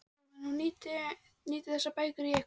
Jóhann: Og nýtið þið þessar bækur í eitthvað?